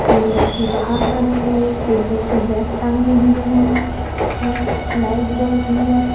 तीन व्यक्ति बहार खड़े हुए एक व्यक्ति बैग टांगें हुए है है लाइट जल रही है।